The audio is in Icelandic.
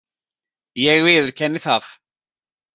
Ég viðurkenni það.